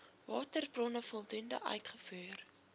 waterbronne voldoende uitgevoer